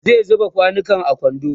zan zuba kwanukan a kwando